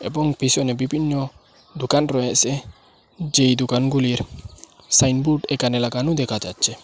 এবং পিসনে বিবিন্ন দোকান রয়েসে যেই দোকানগুলির সাইনবোর্ড একানে লাগানো দেকা যাচ্চে।